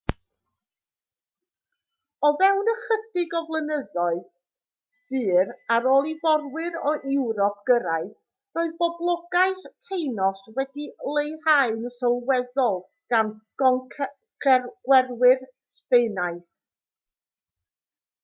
o fewn ychydig o flynyddoedd byr ar ôl i fforwyr o ewrop gyrraedd roedd poblogaeth tainos wedi'i leihau'n sylweddol gan goncwerwyr sbaenaidd